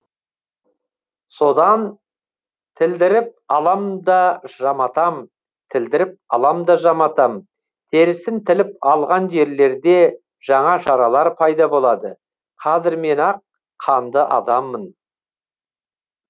содан тілдіріп алам да жаматам тілдіріп алам да жаматам терісін тіліп алған жерлерде жаңа жаралар пайда болады қазір мен ақ қанды адаммын